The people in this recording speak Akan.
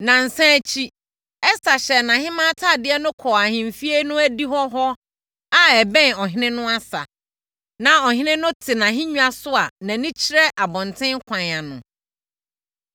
Nnansa akyi, Ɛster hyɛɛ nʼahemmaa atadeɛ kɔɔ ahemfie no adihɔ hɔ a ɛbɛn ɔhene no asa. Na ɔhene no te nʼahennwa so a nʼani kyerɛ abɔntene kwan ano.